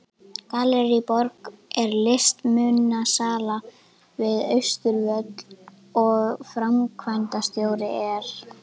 Gallerí Borg er listmunasala við Austurvöll og framkvæmdastjóri er